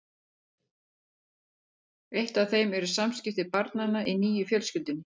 Eitt af þeim eru samskipti barnanna í nýju fjölskyldunni.